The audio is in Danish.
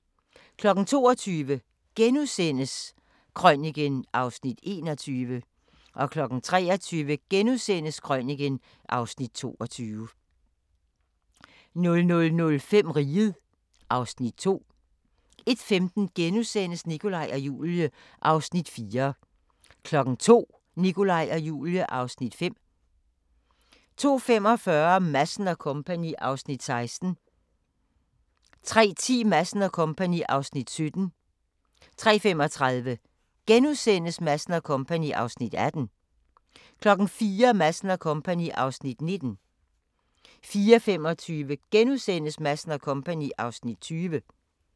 22:00: Krøniken (Afs. 21)* 23:00: Krøniken (Afs. 22)* 00:05: Riget (Afs. 2) 01:15: Nikolaj og Julie (Afs. 4)* 02:00: Nikolaj og Julie (Afs. 5) 02:45: Madsen & Co. (Afs. 16) 03:10: Madsen & Co. (Afs. 17) 03:35: Madsen & Co. (Afs. 18)* 04:00: Madsen & Co. (Afs. 19) 04:25: Madsen & Co. (Afs. 20)*